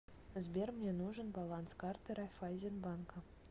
сбер мне нужен баланс карты райфайзен банка